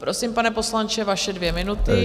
Prosím, pane poslanče, vaše dvě minuty.